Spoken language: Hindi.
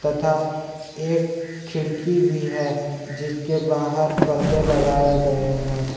तथा एक खिड़की भी है जिसके बाहर पर्दे लगाए गए हैं।